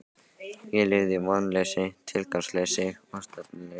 Ég lifði í vonleysi, tilgangsleysi og stefnuleysi.